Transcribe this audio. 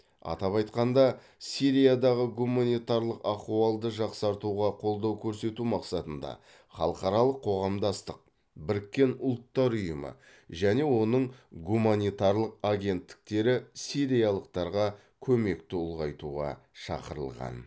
атап айтқанда сириядағы гуманитарлық ахуалды жақсартуға қолдау көрсету мақсатында халықаралық қоғамдастық біріккен ұлттар ұйымы және оның гуманитарлық агенттіктері сириялықтарға көмекті ұлғайтуға шақырылған